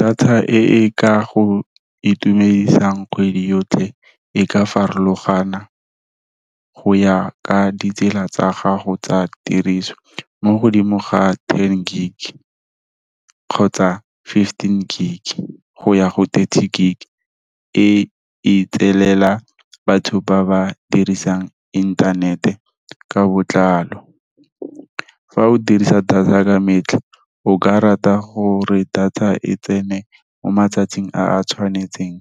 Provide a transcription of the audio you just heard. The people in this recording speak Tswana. Data e e ka go itumedisang kgwedi yotlhe, e ka farologana, go ya ka ditsela tsa gago tsa tiriso, mo godimo ga ten gig, kgotsa fifteen gig, go ya go thirty gig, e e itselela batho ba ba dirisang inthanete, ka botlalo. Fa o dirisa data ka metlha, o ka rata gore data e tsene mo matsatsing a tshwanetseng,